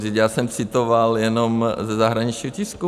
Vždyť já jsem citoval jenom ze zahraničního tisku.